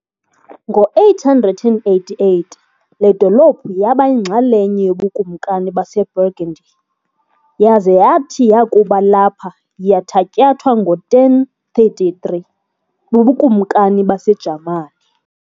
Ngo-888 le dolophu yaba yinxalenye yobuKumkani baseBurgundy, yaza yathi yakuba lapha yathatyathwa ngo-1033 bubuKumakani baseJamani.